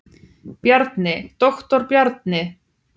Bjarni, doktor Bjarni.